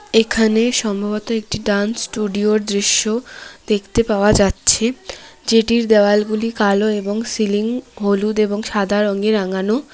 এখানে সম্ভবত একটি ড্যান্স স্টুডিওর দৃশ্য দেখতে পাওয়া যাচ্ছে যেটির দেওয়ালগুলি কালো এবং সিলিং হলুদ এবং সাদা রঙে রাঙানো।